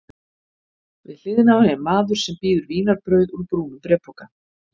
Við hliðina á henni er maður sem býður vínarbrauð úr brúnum bréfpoka.